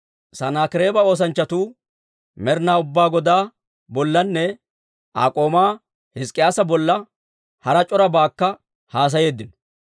Sanaakireeba oosanchchatuu Med'etaa Ubbaa Godaa bollanne Aa k'oomaa Hizk'k'iyaasa bolla hara c'orabaakka haasayeeddino.